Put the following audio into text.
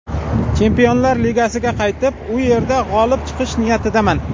Chempionlar Ligasi finaliga qaytib, u yerda g‘olib chiqish niyatidaman.